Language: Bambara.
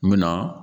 N bɛ na